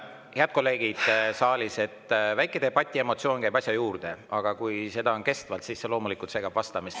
Head kolleegid saalis, väike debatiemotsioon käib asja juurde, aga kui see kestab, siis see loomulikult segab vastamist.